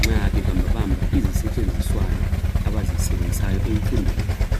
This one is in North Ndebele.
nxa bebambabamba izisetshenziswana abazisebenzisayo emfundweni yabo